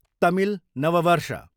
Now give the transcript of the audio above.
तमिल नव वर्ष